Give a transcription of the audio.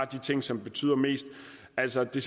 de ting som betyder mest altså det